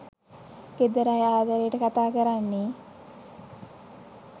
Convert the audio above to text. ගෙදර අය ආදරේට කතා කරන්නේ.